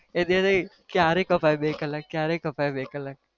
એ દિવસ કયારે કપાય બે કલાક કયારે કપાય બે કલાક?